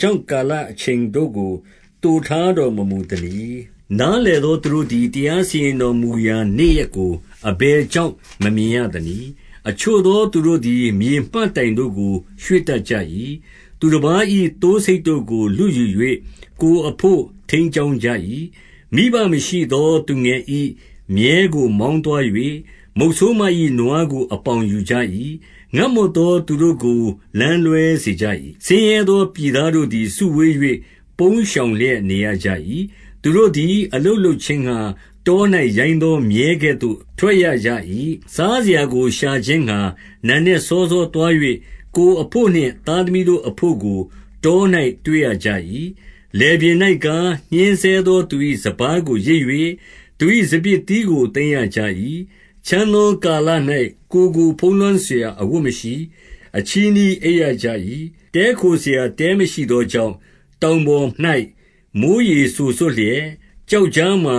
ကြောင့် ကာလအချိန်တို့ကို သိုထားတော်မမူသနည်း။ နားလည်သော သူတို့သည် တရားစီရင်တော်မူရာ နေ့ရက်ကိုအဘယ်ကြောင့် မမြင်ရသနည်း။ 2 အချို့သောသူတို့သည် မြေမှတ်တိုင်တို့ကို ရွှေ့တတ်ကြ၏။ သူတပါး၏ သိုးဆိတ်တို့ကို လုယူ၍ ကိုယ်အဘို့ ထိန်းကျောင်းကြ၏။ 3 မိဘမရှိသောသူငယ်၏မြည်းကို မောင်းသွား၍၊ မုတ်ဆိုးမ၏နွား ကိုအပေါင်ယူကြ၏။ 4 ငတ်မွတ်သော သူတို့ကို လမ်းလွဲစေကြ၏။ ဆင်းရဲသောပြည်သားတို့သည် စုဝေး၍ ပုန်းရှောင်လျက် နေရကြ၏။ 5 သူတို့သည်အလုပ်လုပ်ခြင်းငှါ တော၌ရိုင်းသော မြည်းကဲ့သို့ ထွက်ရကြ၏။ စားစရာကိုရှာခြင်းငှါ နံနက် စောစောသွား၍၊ ကိုယ်အဘို့နှင့် သားသမီးတို့အဘို့ကို တော၌တွေ့ရကြ၏။ 6 လယ်ပြင်၌ကား၊ ညှဉ်းဆဲသောသူ၏ စပါးကို ရိတ်၍၊ သူ၏စပျစ်သီးကို သိမ်းရကြ၏။ 7 ချမ်းသောကာလ၌ ကိုယ်ကိုဖုံးလွှမ်းစရာ အဝတ်မရှိ။ အချည်းစည်းအိပ်ရကြ၏။ 8 တည်းခိုစရာတဲမရှိသောကြောင့်၊ တောင်ပေါ်၌ မိုဃ်းရေ စိုစွတ်လျက် ကျောက်ကြားမှာ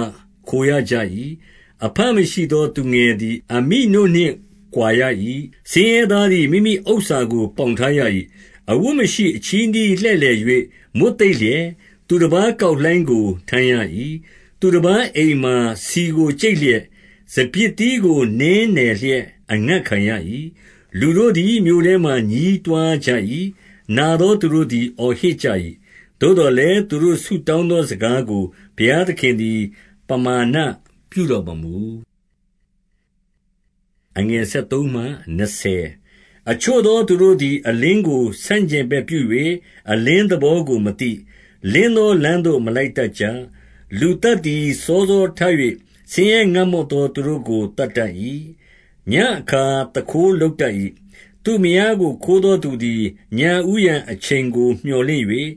ခိုရကြ၏။ 9 အဘမရှိသောသူငယ်သည် အမိနို့နှင့်ကွာရ၏။ ဆင်းရဲသားသည် မိမိဥစ္စာကို ပေါင်ထားရ၏။ 10 အဝတ်မရှိအချည်းစည်းလှည့်လည်၍ မွတ်သိပ်လျက်၊ သူတပါး ကောက်လှိုင်းကို ထမ်းရ၏။ 11 သူတပါးအိမ်မှာ ဆီကိုကြိတ်လျက်၊ စပျစ်သီးကို နင်းနယ်လျက် အငတ်ခံရ၏။ 12 လူတို့သည်မြို့ထဲမှာ ညည်းတွားကြ၏။ နာသောသူတို့သည် အော်ဟစ်ကြ၏။ နာသောသူတို့သည် အော်ဟစ်ကြ၏။ သို့သော်လည်း သူတို့ဆုတောင်းသော စကားကိုဘုရားသခင်သည် ပမာဏပြုတော်မမူ။ 13 အချို့သောသူတို့သည် အလင်းကို ဆန့်ကျင်ဘက်ပြု၍ အလင်းသဘောကိုမသိ။ လင်းသောလမ်းသို့ မလိုက်တတ်ကြ။ 14 လူသတ်သည် စောစောထ၍ ဆင်းရဲငတ်မွတ် သော သူတို့ကို သတ်တတ်၏။ ညဉ့်အခါ သူခိုးလုပ်တတ် ၏။ 15 သူ့မယားကို ခိုးသောသူသည် ညဦးယံအချိန်ကို မြော်လင့်၍၊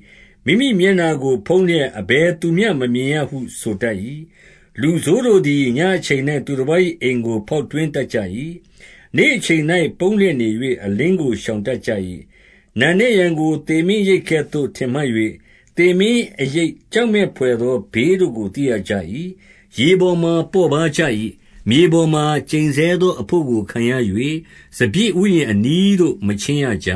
မိမိမျက်နှာကိုဖုံးလျက် အဘယ်သူမျှ မမြင်ရ ဟု ဆိုတတ်၏။ 16 လူဆိုးတို့သည် ညဉ့်အချိန်၌ သူတပါး၏အိမ်ကို ဖောက်ထွင်းတတ်ကြ၏။ နေ့အချိန်၌ ပုန်းလျက်နေ၍ အလင်းကိုရှောင်တတ်ကြ၏။ 17 နံနက်ယံကို သေမင်းအရိပ်ကဲ့သို့ ထင်မှတ်၍၊ သေမင်းအရိပ်ကြောက်မက်ဘွယ်သောဘေးတို့ကို သိရကြ၏။ 18 ရေပေါ်မှာပေါ့ပါးကြ၏။ မြေပေါ်မှာ ကျိန်ဆဲ သောအဘို့ကို ခံရ၍၊ စပျစ်ဥယျာဉ်အနီးသို့ မချဉ်းရကြ။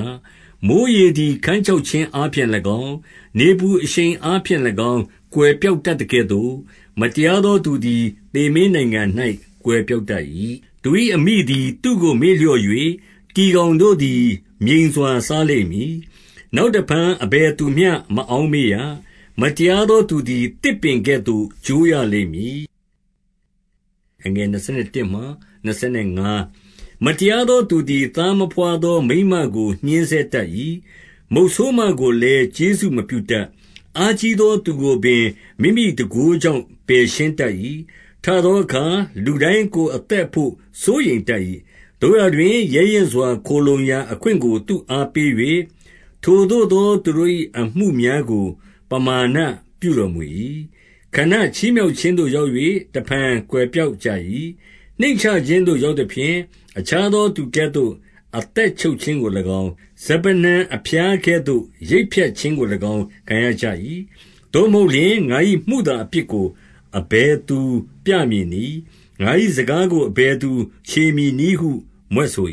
19 မိုဃ်းရေသည် ခန်းခြောက်ခြင်းအားဖြင့်၎င်း၊ နေပူအရှိန်အားဖြင့်၎င်း၊ ကွယ်ပျောက်တတ်သကဲ့သို့၊ မတရားသောသူသည် သေမင်းနိုင်ငံ၌ ကွယ်ပျောက်တတ် ၏။ 20 သူ၏အမိသည် သူ့ကိုမေ့လျော့၍၊ တီကောင်တို့သည် မြိန်စွာ စားလိမ့်မည်။ နောက်တဖန် အဘယ်သူမျှ မအောက်မေ့ရ။ မတရားသော သူသည်သစ်ပင်ကဲ့သို့ ကျိုးရလိမ့်မည်။ 21 မတရားသောသူသည် သားမဘွားသောမိန်းမကို ညှဉ်းဆဲတတ်၏။ မုတ်ဆိုးမကိုလည်း ကျေးဇူး မပြုတတ်။ 22 အားကြီးသောသူကိုပင် မိမိတန်ခိုးကြောင့် ပယ်ရှင်းတတ်၏။ ထသောအခါလူတိုင်းကိုယ် အသက် အဘို့ စိုးရိမ်တတ်၏။ 23 သို့ရာတွင်ရဲရင့်စွာ ခိုလှုံရာအခွင့်ကို သူ့အားပေး၍၊ ထိုသို့သော သူတို့၏ အမှုများကို ပမာဏပြုတော် မူ၏။ 24 ခဏချီးမြှောက်ခြင်းသို့ ရောက်၍ တဖန် ကွယ်ပျောက်ကြ၏။ နှိမ့်ချခြင်းသို့ရောက်သဖြင့်၊ အခြားသော သူကဲ့သို့ အသက်ချုပ်ခြင်းကို၎င်း၊ စပါးနှံအဖျားကဲ့သို့ ရိတ်ဖြတ်ခြင်းကို၎င်း ခံရကြ၏။ 25 သို့မဟုတ်လျှင်၊ ငါ၏မုသာအပြစ်ကို အဘယ်သူ ပြမည်နည်း။ ငါ၏စကားကို အဘယ်သူချေမည်နည်းဟု မြွက်ဆို